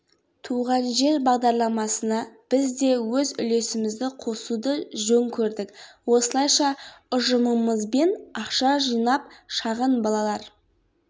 туған жер бағдарламасына біз де өз үлесімізді қосуды жөн көрдік осылайша ұжымымызбен ақша жинап шағын балалар